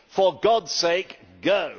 For God's sake, go!'